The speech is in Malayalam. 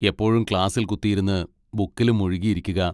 എപ്പോഴും ക്ലാസ്സിൽ കുത്തിയിരുന്ന് ബുക്കിലും മുഴുകി ഇരിക്കുക.